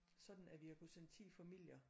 Sådan at vi har kunne sende 10 familier